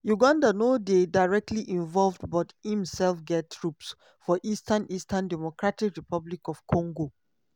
uganda no dey directly involved but imsef get troops for eastern eastern dr congo.